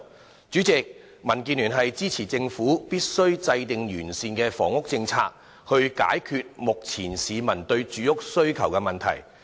代理主席，民主建港協進聯盟支持政府必須制訂完善的房屋政策，以解決目前市民的住屋需求問題。